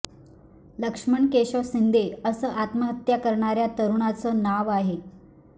लक्ष्मण केशव शिंदे असं आत्महत्या करणाऱ्या तरुणाचं नाव आहे